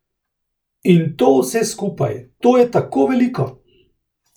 In to vse skupaj, to je tako veliko!